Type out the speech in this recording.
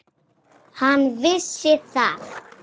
Hann vissi það.